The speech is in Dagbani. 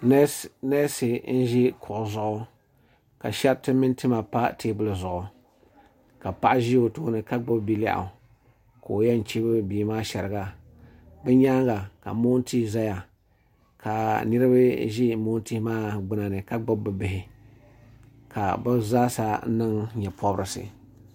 neesi n ʒi kuɣu zuɣu ka shɛriti mini tima pa teebuli zuɣu ka paɣa ʒi o tooni ka gbubi bilɛɣu ka o yɛn chibi bia maa shɛriga bi nyaanga ka moon tia ʒɛya ka niraba ʒi maantihi maa gbuna ni ka gbubi bi bihi ka bi zaasa niŋ nyɛ pobirisi